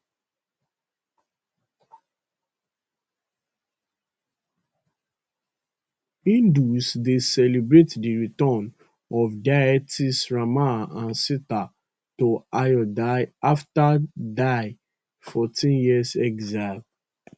hindus dey celebrate di return of deities rama and sita to ayodhya afta dia 14year exile